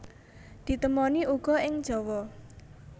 Ditemoni uga ing Jawa